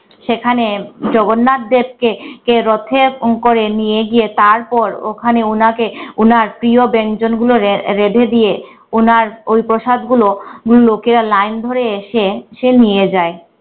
সেখানে জগন্নাথদেরকে কে রথে করে নিয়ে গিয়ে তারপর ওখানে ওনাকে ওনার প্রিয় ব্যঞ্জন গুলো রে রেঁধে দিয়ে উনার ওই প্রসাদ গুলো লোকেরা line ধরে এসে এসে নিয়ে যায়।